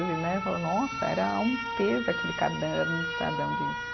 Ele né, fala, nossa, era um peso aquele caderno do Estadão de